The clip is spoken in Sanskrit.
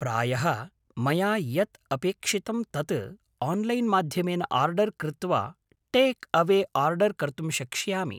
प्रायः मया यत् अपेक्षितं तत् आन्लैन्माध्यमेन आर्डर् कृत्वा टेक्अवे आर्डर् कर्तुं शक्ष्यामि।